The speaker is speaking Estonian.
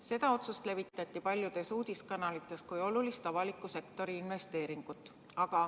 Seda otsust levitati paljudes uudiste kanalites kui olulist avaliku sektori investeeringut.